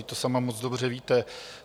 Vždyť to sama moc dobře víte.